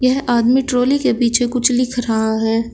यह आदमी ट्रॉली के पीछे कुछ लिख रहा है।